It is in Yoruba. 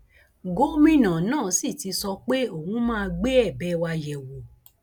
gómìnà náà sì ti sọ pé òun máa gbé ẹbẹ wa yẹ wò